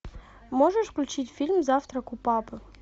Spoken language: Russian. можешь включить фильм завтрак у папы